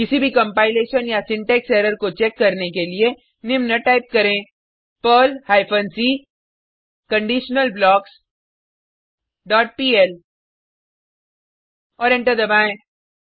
किसी भी कंपाइलेशन या सिंटेक्स एरर को चेक करने के लिए निम्न टाइप करें Perl hyphen c conditional blocks dot pl और एंटर दबाएँ